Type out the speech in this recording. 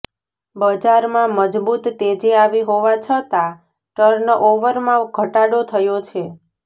બજારમાં મજબૂત તેજી આવી હોવા છતાં ટર્નઓવરમાં ઘટાડો થયો છે